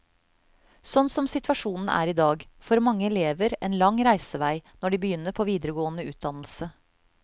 Sånn som situasjonen er i dag, får mange elever en lang reisevei når de begynner på videregående utdannelse.